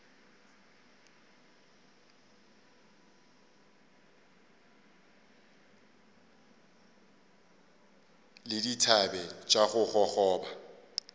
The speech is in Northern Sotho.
le dithabe tša go gogoba